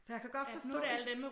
For jeg kan godt forstå det